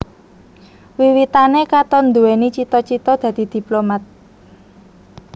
Wiwitané Katon nduwèni cita cita dadi diplomat